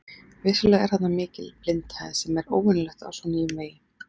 Vissulega er þarna mikil blindhæð sem er óvenjulegt á svo nýjum vegi.